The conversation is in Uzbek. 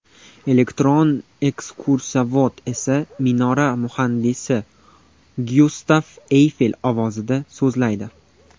Elektron ekskursovod esa minora muhandisi Gyustav Eyfel ovozida so‘zlaydi.